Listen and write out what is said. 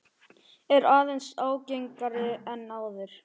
Er aðeins ágengari en áður.